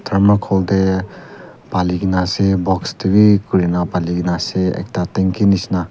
tharmacol te pale kina ase box te bhi podina pale kina ase ekta tanki nisna--